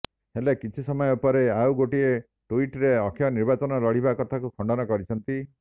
ହେଲେ କିଛି ସମୟ ପରେ ଆଉ ଗୋଟିଏ ଟୁଇଟ୍ରେ ଅକ୍ଷୟ ନିର୍ବାଚନ ଲଢ଼ିବା କଥାକୁ ଖଣ୍ଡନ କରିଛନ୍ତି